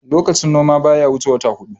lokacin noma baya wuce wata hudu